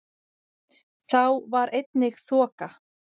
Þá var einnig þoka